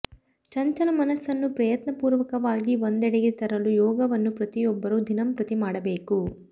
ಚಂಚಲ ಮನಸ್ಸನ್ನು ಪ್ರಯತ್ನಪೂರ್ವಕವಾಗಿ ಒಂದೆಡೆಗೆ ತರಲು ಯೋಗವನ್ನು ಪ್ರತಿಯೊಬ್ಬರು ದಿನಂಪ್ರತಿ ಮಾಡಬೇಕು